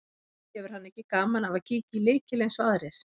Hefur hann ekki gaman af að kíkja í lykil eins og aðrir.